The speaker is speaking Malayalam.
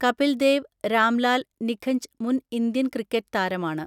കപിൽ ദേവ് രാംലാൽ നിഖഞ്ച് മുൻ ഇന്ത്യൻ ക്രിക്കറ്റ് താരമാണ്.